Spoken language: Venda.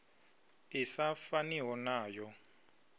i sa faniho na yo